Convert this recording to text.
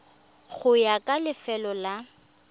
go ya ka lefelo la